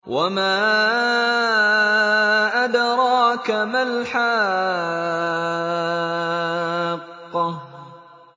وَمَا أَدْرَاكَ مَا الْحَاقَّةُ